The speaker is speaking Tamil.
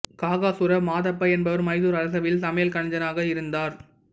காகசூரா மாதப்பா என்பவர் மைசூர் அரசவையில் சமையல் கலைஞராக இருந்தார்